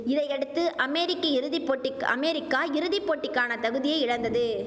இதையடுத்து அமெரிக்க இறுதி போட்டிக்கு அமேரிக்கா இறுதி போட்டிக்கான தகுதியை இழந்தது